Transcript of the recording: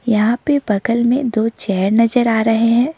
यहां पे बगल में दो चेयर नजर आ रहे है।